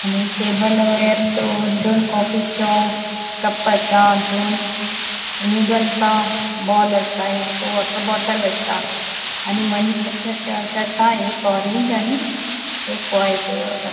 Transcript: आणि टेबल वयर दो दोन कॉफी चो कप आसा दोन नूडल्स बॉल आसा एक वॉटर बॉटल आसा आणि मनशाचे शर्ट आसा एक ऑरेंज आणि एक व्हाइट घा --